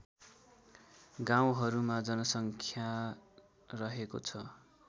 गाउँहरूमा जनसङ्ख्या रहेको छ